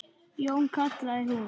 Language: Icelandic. Jón, kallaði hún.